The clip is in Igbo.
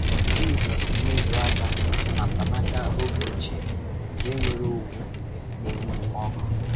Jízọs na-ezo aka na mpanaka oge ochie nke nwere òwù na-enwu ọ̀kụ.